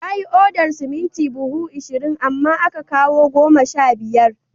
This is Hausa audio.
Ya yi odar siminti buhu ashirin, amma aka kawo goma sha biyar